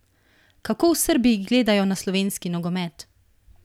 Kako v Srbiji gledajo na slovenski nogomet?